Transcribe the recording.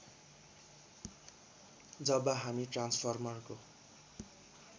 जब हामी ट्रान्सफर्मरको